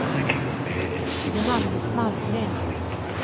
Johannes Malmgren